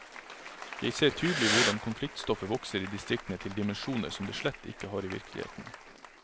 Jeg ser tydelig hvordan konfliktstoffet vokser i distriktene til dimensjoner som det slett ikke har i virkeligheten.